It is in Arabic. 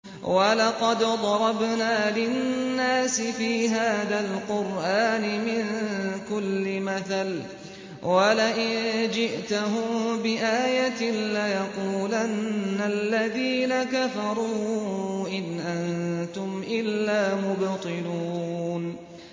وَلَقَدْ ضَرَبْنَا لِلنَّاسِ فِي هَٰذَا الْقُرْآنِ مِن كُلِّ مَثَلٍ ۚ وَلَئِن جِئْتَهُم بِآيَةٍ لَّيَقُولَنَّ الَّذِينَ كَفَرُوا إِنْ أَنتُمْ إِلَّا مُبْطِلُونَ